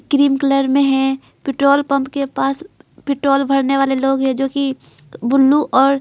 Cream colour में है petrol pump के पास पेट्रोल भरने वाले लोग हैंजो कि बुल्लू और।